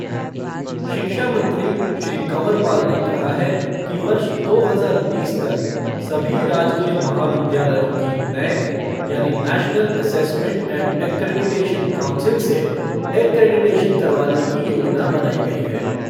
शिक्षा मंत्री श्री कंवर पाल ने कहा है कि वर्ष दो हज़ार बीस तक सभी राजकीय महाविद्यालयों की नैक यानि national assessment and accreditation council से एक्रेडिशन करवाने की योजना बनाई गई है।